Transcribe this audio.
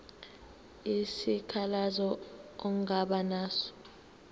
isikhalazo ongaba naso